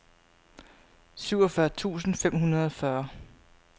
syvogfyrre tusind fem hundrede og fyrre